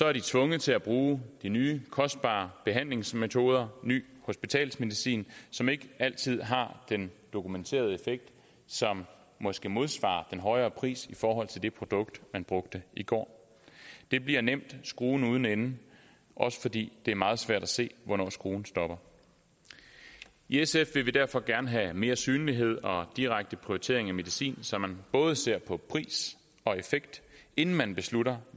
er de tvunget til at bruge de nye kostbare behandlingsmetoder ny hospitalsmedicin som ikke altid har den dokumenterede effekt som måske modsvarer den højere pris i forhold til det produkt man brugte i går det bliver nemt skruen uden ende også fordi det er meget svært at se hvornår skruen stopper i sf vil vi derfor gerne have mere synlighed og direkte prioritering af medicin så man både ser på pris og effekt inden man beslutter